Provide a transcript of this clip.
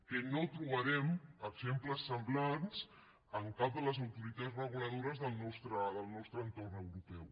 que no en trobarem exemples semblants en cap de les autoritats reguladores del nostre entorn europeu